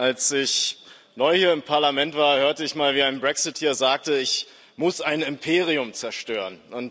Als ich neu hier im Parlament war, hörte ich mal, wie ein Brexiteer sagte Ich muss ein Imperium zerstören.